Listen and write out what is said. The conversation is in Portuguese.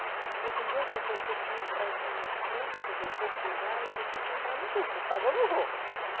Falei assim, deixa, eu vou ter que entrar então nos cursos, vou procurar e vou ter que entrar no curso, vou pagar ou não vou.